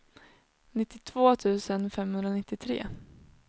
nittiotvå tusen femhundranittiotre